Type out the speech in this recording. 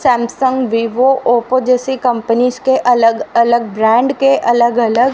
Samsung Vivo Oppo जैसी companies के अलग अलग ब्रांड के अलग अलग--